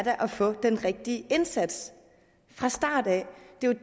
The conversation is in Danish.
at få den rigtige indsats fra starten det